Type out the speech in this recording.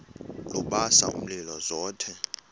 lubasa umlilo zothe